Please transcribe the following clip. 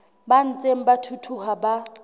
ba ntseng ba thuthuha ba